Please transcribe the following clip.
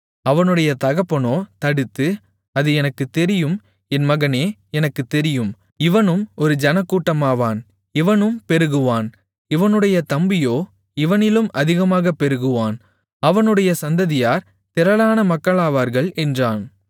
அவனுடைய தகப்பனோ தடுத்து அது எனக்குத் தெரியும் என் மகனே எனக்குத் தெரியும் இவனும் ஒரு ஜனக்கூட்டமாவான் இவனும் பெருகுவான் இவனுடைய தம்பியோ இவனிலும் அதிகமாகப் பெருகுவான் அவனுடைய சந்ததியார் திரளான மக்களாவார்கள் என்றான்